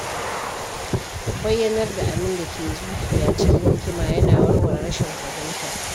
Bayyanar da abin da ke zuciya cikin hikima yana warware rashin fahimta.